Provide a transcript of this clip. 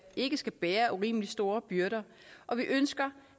ikke skal bære urimeligt store byrder og vi ønsker